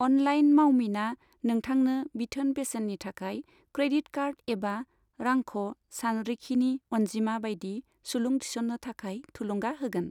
Online मावमिना नोंथांनो बिथोन बेसेननि थाखाय क्रेडिट कार्ड एबा रांख' सानरिखिनि अनजिमा बायदि सुलुं थिसननो थाखाय थुलुंगा होगोन।